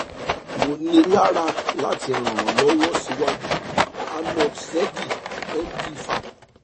mo níra lati ran ọ lọ siwaju arnold zedd md faap